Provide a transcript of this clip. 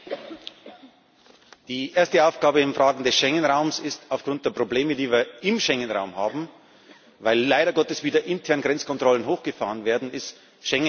Die erste Aufgabe in Fragen des Schengen Raums ist aufgrund der Probleme, die wir im Schengen Raum haben weil leider Gottes wieder intern Grenzkontrollen hochgefahren werden Schengen zunächst einmal zu bewahren.